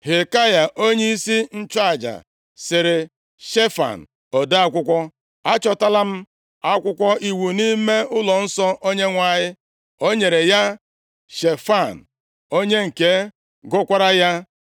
Hilkaya onyeisi nchụaja, sịrị Shefan ode akwụkwọ, “Achọtala m Akwụkwọ Iwu + 22:8 Akwụkwọ Iwu a, nke a chọtara bụ akwụkwọ Diuteronomi, \+xt Dit 31:24-26; 2Ih 34:14\+xt* Nchọpụta akwụkwọ a, gosiri nʼụzọ pụtara ìhè oke nnupu isi dị nʼala Izrel megide iwu Chineke nʼoge eze Manase na-achị. nʼime ụlọnsọ Onyenwe anyị.” O nyere ya Shefan, onye nke gụkwara ya.